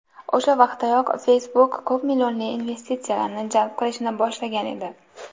O‘sha vaqtdayoq Facebook ko‘pmillionli investitsiyalarni jalb qilishni boshlagan edi.